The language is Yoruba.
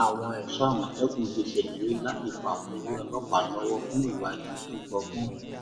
àwọn ẹṣọ àmọtẹkùn ti ṣèlérí láti fà wọn lé ọlọpàá lọwọ fún ìwádìí tó gbópọn